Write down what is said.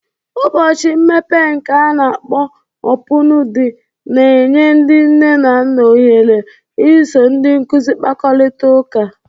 Ụbọchị mmepe nke ana-akpọ Opụñu De na-enye ndị nne na nna ohere iso ndị nkuzi kpakọrịta ụka.